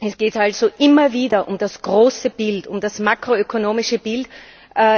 Es geht also immer wieder um das große Bild, um das makroökonomische Bild,